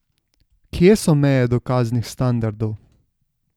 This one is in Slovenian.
Kje so meje dokaznih standardov?